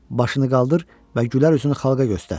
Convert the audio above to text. Başını qaldır və gülər üzünü xalqa göstər.